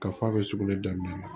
Ka f'a bɛ sugunɛ daminɛ